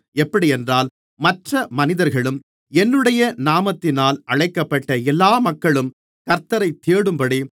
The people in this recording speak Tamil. எப்படியென்றால் மற்ற மனிதர்களும் என்னுடைய நாமத்தினால் அழைக்கப்பட்ட எல்லா மக்களும் கர்த்த்தரை தேடும்படி